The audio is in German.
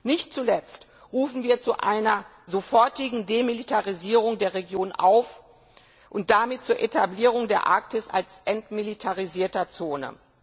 Nicht zuletzt rufen wir zu einer sofortigen Demilitarisierung der Region auf, und damit zur Etablierung der Arktis als entmilitarisierte Zone.